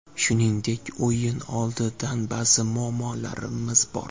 Shuningdek, o‘yin oldidan ba’zi muammolarimiz bor.